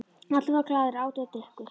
Allir voru glaðir, átu og drukku.